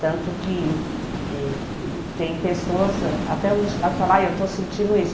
Tanto que eh tem pessoas ãh que até hoje lá falam, ah eu estou sentindo isso.